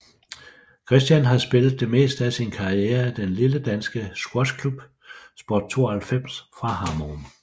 Kristian har spillet det meste af sin karriere i den lille danske squashklub Sport 92 fra Hammerum